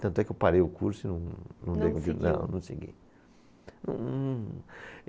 Tanto é que eu parei o curso e não, não. Não seguiu. Não segui.